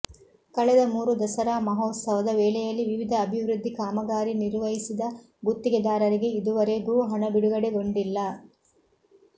ಕಳೆದ ಮೂರು ದಸರಾ ಮಹೋತ್ಸವದ ವೇಳೆಯಲ್ಲಿ ವಿವಿಧ ಅಭಿವೃದ್ಧಿ ಕಾಮಗಾರಿ ನಿರ್ವಹಿಸಿದ ಗುತ್ತಿಗೆದಾರರಿಗೆ ಇದುವರೆಗೂ ಹಣ ಬಿಡುಗಡೆಗೊಂಡಿಲ್ಲ